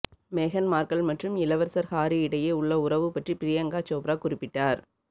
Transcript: மேகன் மார்கல் மற்றும் இளவரசர் ஹாரி இடையே உள்ள உறவு பற்றி பிரியங்கா சோப்ரா குறிப்பிட்டார்